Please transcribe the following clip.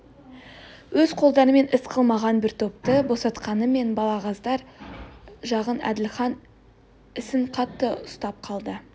өз қолдарымен іс қылмаған бір топты босатқанмен балағаздар жағын әділхан ісін қатты ұстап қалды